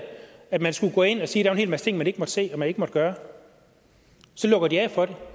at man skulle gå ind og sige der er en hel masse ting man ikke må se og man ikke må gøre så lukker de af for det